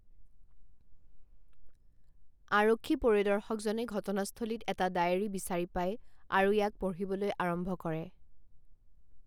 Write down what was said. আৰক্ষী পৰিদৰ্শকজনে ঘটনাস্থলীত এটা ডায়েৰী বিচাৰি পায় আৰু ইয়াক পঢ়িবলৈ আৰম্ভ কৰে।